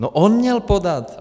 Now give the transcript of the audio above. No on měl podat!